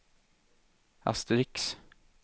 asterisk